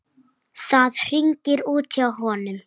Það hringir út hjá honum.